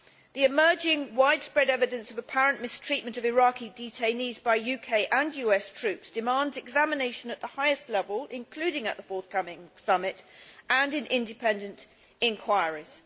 The emerging, widespread evidence of apparent mistreatment of Iraqi detainees by UK and US troops demands examination at the highest level, including at the forthcoming summit and in independent inquiries.